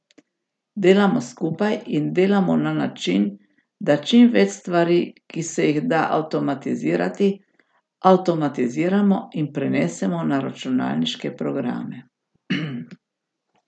Delamo skupaj in delamo na način, da čim več stvari, ki se jih da avtomatizirati, avtomatiziramo in prenesemo na računalniške programe.